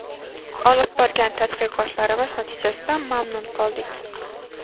Olib borgan tadqiqotlarimiz natijasidan mamnun qoldik.